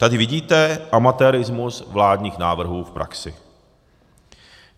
Tady vidíte amatérismus vládních návrhů v praxi.